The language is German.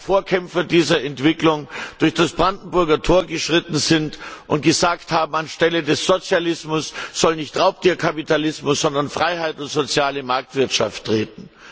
zwei Vorkämpfer dieser Entwicklung, durch das Brandenburger Tor geschritten sind und gesagt haben An die Stelle des Sozialismus soll nicht Raubtier Kapitalismus, sondern Freiheit und soziale Marktwirtschaft treten.